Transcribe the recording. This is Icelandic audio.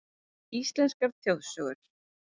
Íslenskar þjóðsögur: